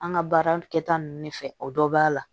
An ka baara kɛta ninnu de fɛ o dɔ b'a la